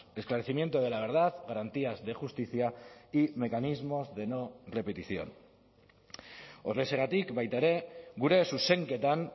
esclarecimiento de la verdad garantías de justicia y mecanismos de no repetición horrexegatik baita ere gure zuzenketan